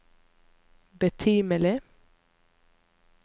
betimelig